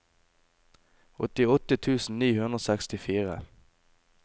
åttiåtte tusen ni hundre og sekstifire